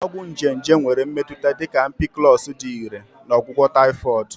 Ọgwụ nje nje nwere mmetụta dị ka Ampiclox dị irè na ọgwụgwọ Typhoid.